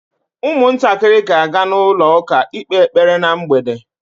Ụmụntakịrị ga-aga na ụlọ ụka ikpe ekpere ná mgbede.